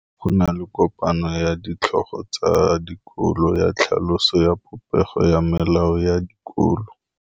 Go na le kopanô ya ditlhogo tsa dikolo ya tlhaloso ya popêgô ya melao ya dikolo.